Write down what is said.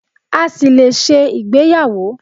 A ṣì lè ṣe ìgbéyàwó.